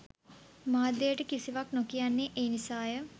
මාධ්‍යයට කිසිවක් නොකියන්නේ ඒ නිසාය